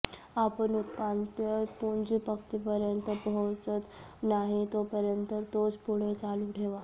आपण उपान्त्य पुंज पंक्तीपर्यंत पोहोचत नाही तोपर्यंत तोच पुढे चालू ठेवा